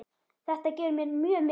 Þetta gefur mér mjög mikið.